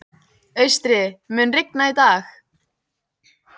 Austri, mun rigna í dag?